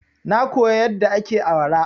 Na koya yadda ake awara.